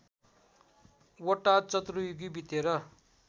वटा चतुर्युगी बितेर